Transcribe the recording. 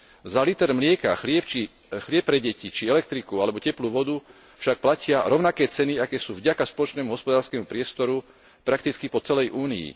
Za liter mlieka, chlieb pre deti či elektriku alebo teplú vodu však platia rovnaké ceny, aké sú vďaka spoločnému hospodárskemu priestoru prakticky po celej Únii.